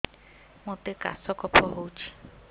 ମୋତେ କାଶ କଫ ହଉଚି